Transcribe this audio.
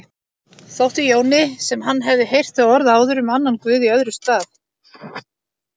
Þótti Jóni sem hann hefði heyrt þau orð áður um annan guð í öðrum stað.